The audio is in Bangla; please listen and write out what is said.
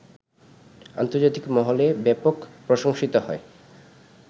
আন্তর্জাতিক মহলে ব্যাপক প্রশংসিত হয়